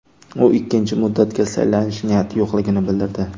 U ikkinchi muddatga saylanish niyati yo‘qligini bildirdi.